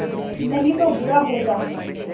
नहीं तो बुरा होगा